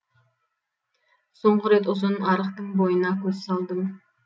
соңғы рет ұзын арықтың бойына көз салдым